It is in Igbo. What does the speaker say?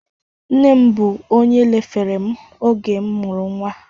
Nne m bụ onye lefere m oge m mụrụ nwa